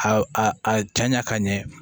A a a a janya ka ɲɛ